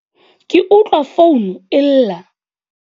Ke utlwa founu e lla.